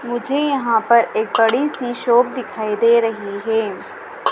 मुझे यहां पर एक बड़ीसी शॉप दिखाई दे रही हैं।